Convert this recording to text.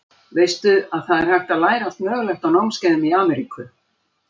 Veistu að það er hægt að læra allt mögulegt á námskeiðum í Ameríku.